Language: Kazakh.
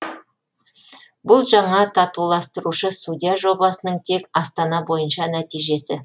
бұл жаңа татуластырушы судья жобасының тек астана бойынша нәтижесі